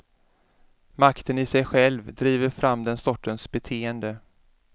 Makten i sig själv driver fram den sortens beteende.